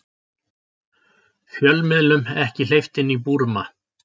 Fjölmiðlum ekki hleypt inn í Búrma